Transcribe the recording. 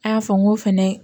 A y'a fɔ n ko fɛnɛ